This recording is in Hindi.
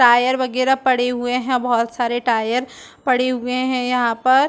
टायर वगेरा पड़े हुए है बहोत सारे टायर पड़े हुए है यहाँ पर --